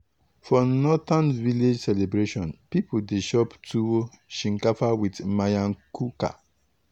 for northern village celebration people dey chop tuwo shinkafa with miyan kuka.